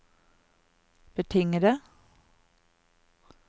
betingede